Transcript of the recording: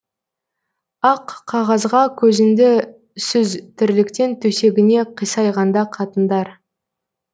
ақ қағазға көзіңді сүз тірліктен төсегіне қисайғанда қатындар